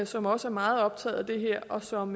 som også er meget optaget af det her og som